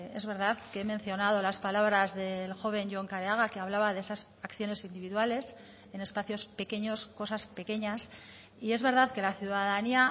es verdad que he mencionado las palabras del joven jon kareaga que hablaba de esas acciones individuales en espacios pequeños cosas pequeñas y es verdad que la ciudadanía